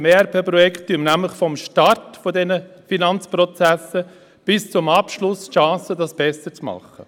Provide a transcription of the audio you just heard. Mit dem ERP-Projekt haben wir nämlich ab dem Start dieser Finanzprozesse bis zu deren Abschluss die Chance, es besser zu machen.